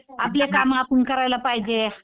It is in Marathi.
आपले कामं आपण करायला पाहिजे.